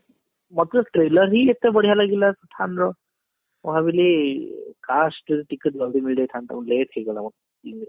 ମତେ trailer ହିଁ ଏତେ ବଢିଆ ଲାଗିଲା pathan ର ମୁଁ ଭାବିଲି କାଶ କେମତି ticket ଜଲ୍ଦି ମିଳି ଯାଇଥାନ୍ତା କି late ହେଇଗଲା